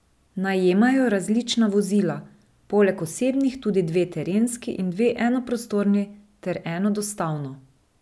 Najemajo različna vozila, poleg osebnih tudi dve terenski in dve enoprostorni ter eno dostavno.